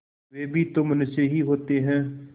वे भी तो मनुष्य ही होते हैं